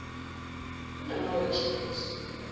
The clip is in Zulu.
kunama workshop osuku